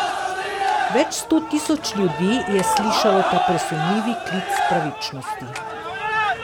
Več sto tisoč ljudi je slišalo ta presunljivi klic k pravičnosti.